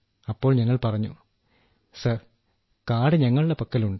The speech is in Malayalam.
അപ്പോൾ ഞങ്ങൾ പറഞ്ഞു സർ കാർഡ് ഞങ്ങളുടെ പക്കലുണ്ട്